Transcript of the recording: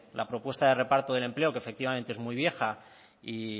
la propuesta de reparto del empleo que efectivamente es muy vieja y